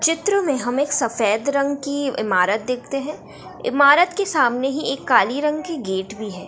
चित्र में हम एक सफेद रंग की इमारत देखते हैं इमारत के सामने ही एक काली रंग की गेट है ।